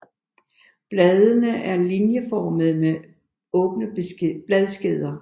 Bladene er linjeformede med åbne bladskeder